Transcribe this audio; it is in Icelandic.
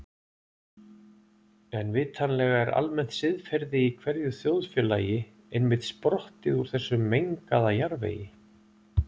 En vitanlega er almennt siðferði í hverju þjóðfélagi einmitt sprottið úr þessum mengaða jarðvegi.